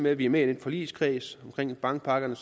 at vi er med i den forligskreds omkring bankpakkerne